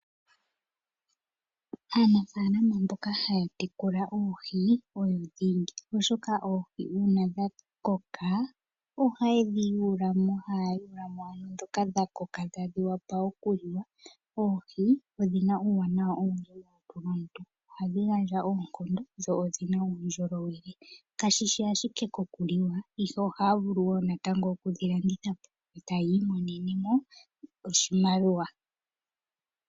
Aanafalama mboka ha ya tekula oohi oyo dhingi, oshoka oohi una dha koka ohaye dhi yulamo, haya yulamo owala dhoka dha koka tadhi wapa nlokuliwa. Oohi odhina uuwanawa owundji molutu, oha dhi gandja oonkondo nodhina uundjolowele kashishi ashike koku liwa ihe ohaya vulu okudhi landithapo etaya imonenemo oshimaliwa.